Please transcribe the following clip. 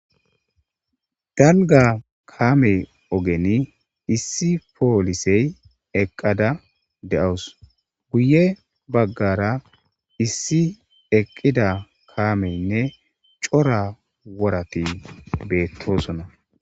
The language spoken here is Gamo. Dalga kaame ogeni issi poolisey eqqada de7owus guye baggara issi eqqida kaameynne cora worati beettoosona.